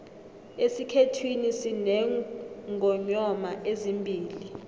esikhethwini sinengonyoma ezimbili